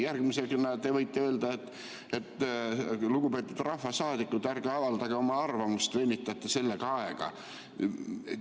Järgmisena te võite öelda, et, lugupeetud rahvasaadikud, ärge avaldage oma arvamust, venitate sellega aega.